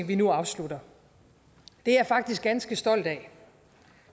vi nu afslutter det er jeg faktisk ganske stolt af